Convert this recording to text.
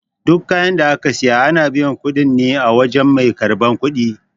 Duk kayan da aka siya, ana biyan kuɗin ne a wajan mai karɓan kuɗi.